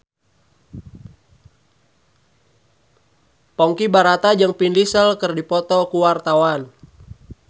Ponky Brata jeung Vin Diesel keur dipoto ku wartawan